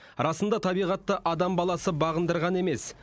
расында табиғатты адам баласы бағындырған емес